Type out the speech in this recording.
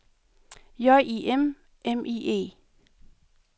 J I M M I E